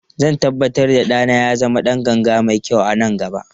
Zan tabbatar da ɗana ya zama ɗan ganga mai kyau a nan gaba.